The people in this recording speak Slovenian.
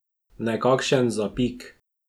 Nekakšen zapik.